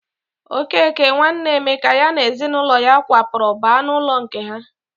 Okeke, nwanne Emeka, ya na ezinụlọ ya kwapụrụ baa n'ụlọ nke ha.